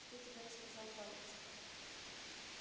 что тебе рассказал палец